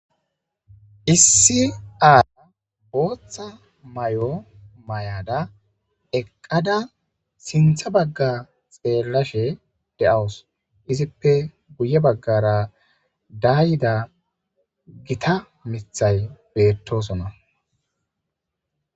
Issi aaya booththa may7o may7ada eqqada sintha bagga xeellashe de7awus izippe guye baggara dayida gita mithay beettosona.